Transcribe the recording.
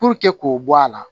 Puruke k'o bɔ a la